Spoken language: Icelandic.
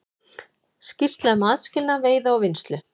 Skýrsla um aðskilnað veiða og vinnslu